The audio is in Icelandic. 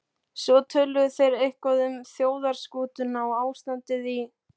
Svo töluðu þeir eitthvað um þjóðarskútuna og ástandið í